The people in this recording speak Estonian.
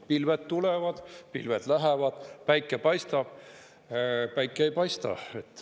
Pilved tulevad, pilved lähevad, päike paistab, päike ei paista.